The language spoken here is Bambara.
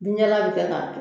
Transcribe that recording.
bin jalan bɛ kɛ k'a